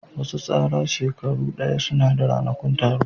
Wasu tsara shekaru daya suna da ranakun taro